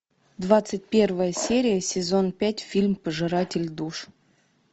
двадцать первая серия сезон пять фильм пожиратель душ